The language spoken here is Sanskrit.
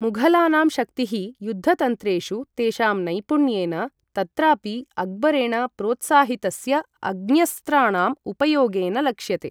मुघलानां शक्तिः युद्धतन्त्रेषु तेषां नैपुण्येन, तत्रापि अक्बरेण प्रोत्साहितस्य अग्न्यस्त्राणां उपयोगेन लक्ष्यते।